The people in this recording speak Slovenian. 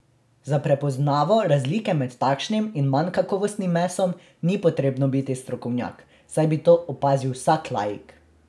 Za prepoznavo razlike med takšnim in manj kakovostnim mesom ni potrebno biti strokovnjak, saj bi to opazil vsak laik.